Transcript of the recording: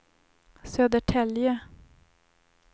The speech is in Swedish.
Södertälje